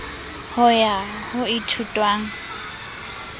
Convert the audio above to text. ho ya ho e ithutwang